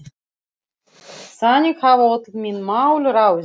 Þannig hafa öll mín mál ráðist.